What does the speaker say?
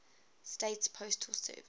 states postal service